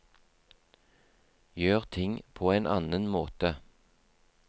Gjør ting på en annen måte.